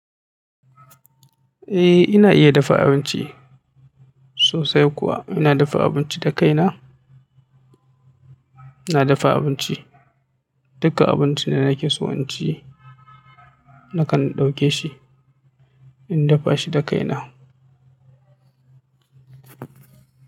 Eh ina iya dafa abinci sosai kuwa. Ina dafa abinci da kai na ina dafa abinci. Duka abincin da nake so in ci nakan dauke shi in dafa shi da kai na.